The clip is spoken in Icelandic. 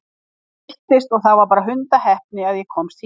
Ég villtist og það var bara hundaheppni að ég komst hingað.